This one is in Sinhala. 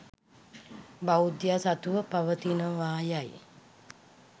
බෞද්ධයා සතුව පවතිනවා යයි